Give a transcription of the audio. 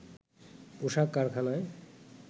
পোশাক কারখানায়